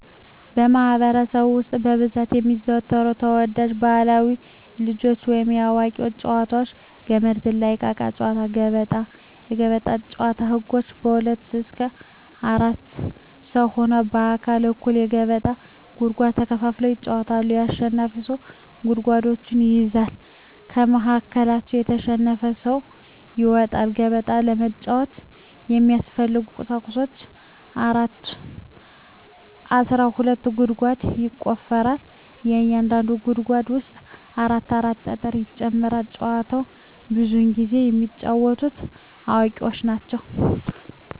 በማህበረሰባችን ውስጥ በብዛት የሚዘወተሩ ተወዳጅ ባህላዊ የልጆች ወይንም የአዋቂዎች ጨዋታዎች - ገመድ ዝላይ፣ እቃቃ ጨዎታ፣ ገበጣ። ገበጣ ጨዎታ ህጎች ከሁለት እስከ አራት ሰው ሁነው እኩል እኩል የገበጣ ጉድጓድ ተከፋፍለው ይጫወታሉ አሸናፊው ብዙ ጉድጓዶችን ይይዛል ከመሀከላቸው የተሸነፈው ሰው ይወጣል። ገበጣ ለመጫወት የሚያስፈልጊ ቁሳቁሶች አስራ ሁለት ጉድጓድ ይቆፈራል በእያንዳንዱ ጉድጓድ ውስጥ አራት አራት ጠጠር ይጨመራል። ጨዎቸውን ብዙውን ጊዜ የሚጫወቱት አዋቂዎች ናቸው።